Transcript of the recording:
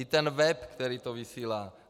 I ten web, který to vysílá.